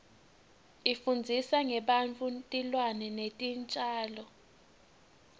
ifundzisa ngebantfu tilwane netitjalo